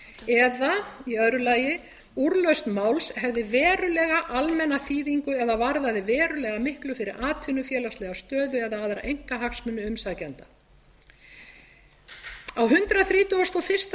ofviða eða í öðru lagi úrlausn máls hefði verulega almenna þýðingu eða varðaði verulega miklu fyrir atvinnufélagslega stöðu eða aðra einkahagsmuni umsækjenda á hundrað þrítugasta og fyrsta